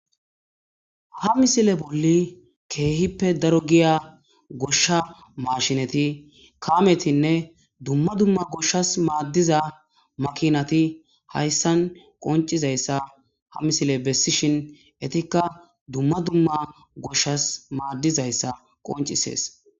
Ha misile boli kehipe daro geya gosha mashineti kametinee duma duma goshas madida makinati haysan qonicizaysa ha misiley besishin etika duma duma goshas madidaysa qonicises